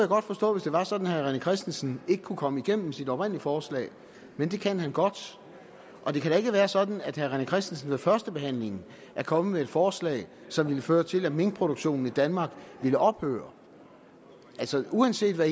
godt forstå hvis det var sådan at herre rené christensen ikke kunne komme igennem med sit oprindelige forslag men det kan han godt det kan da ikke være sådan at herre rené christensen ved førstebehandlingen er kommet med et forslag som ville føre til at minkproduktionen i danmark ville ophøre altså uanset hvad